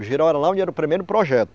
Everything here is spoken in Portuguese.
O Girau era lá onde era o primeiro projeto.